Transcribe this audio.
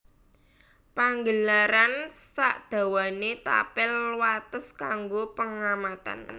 Panggelaran sadawané tapel wates kanggo pengamatan